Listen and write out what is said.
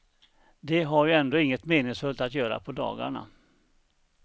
De har ju ändå inget meningsfullt att göra på dagarna.